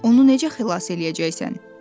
"Onu necə xilas eləyəcəksən?"